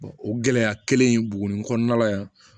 o gɛlɛya kelen in buguni kɔnɔna la yan